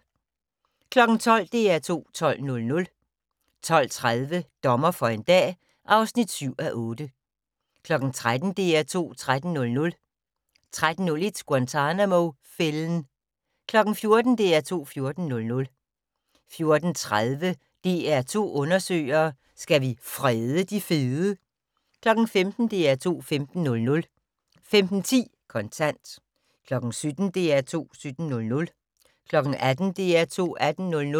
12:00: DR2 12.00 12:30: Dommer for en dag (7:8) 13:00: DR2 13.00 13:01: Guantanamo-fælden 14:00: DR2 14.00 14:30: DR2 Undersøger: Skal vi frede de fede? 15:00: DR2 15.00 15:10: Kontant 17:00: DR2 17.00 18:00: DR2 18.00